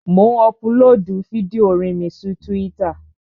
Mò ń ọpulóòdù fídíò orin mi sí túwítà